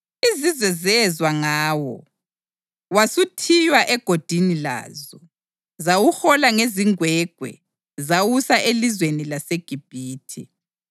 Izizwe zezwa ngawo wasuthiywa egodini lazo. Zawuhola ngezingwegwe zawusa elizweni laseGibhithe.